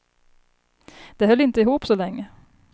De höll inte ihop så länge.